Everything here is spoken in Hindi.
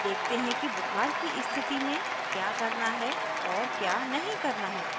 अब देखते है कि बुखार की स्थिति में क्या करना है और क्या नहीं करना है